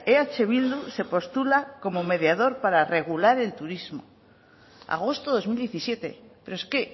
eh bildu se postula como mediador para regular el turismo agosto dos mil diecisiete pero es que